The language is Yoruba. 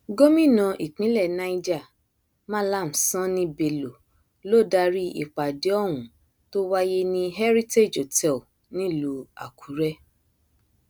gomina ìpínlẹ niger mallam sani bello ló darí ìpàdé ohun tó wáyé ní heritage hotel nílùú àkúrè